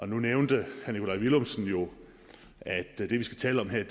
nu nævnte herre nikolaj villumsen jo at det vi skal tale om her